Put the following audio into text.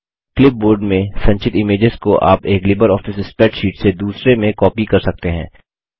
clipboard में संचित images को आप एक लिबर ऑफिस स्प्रैडशीट से दूसरे में कॉपी कर सकते हैं